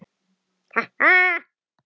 Ha ha.